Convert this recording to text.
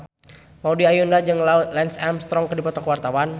Maudy Ayunda jeung Lance Armstrong keur dipoto ku wartawan